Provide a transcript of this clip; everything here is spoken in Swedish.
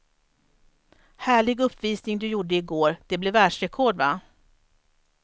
Härlig uppvisning du gjorde i går, det blev världsrekord va?